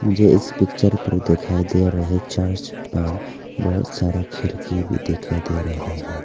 मुझे इस पिक्चर पर दिखाई दे रहे चर्च पर बहोत सारा खिड़की भी दिखाई दे रहे है।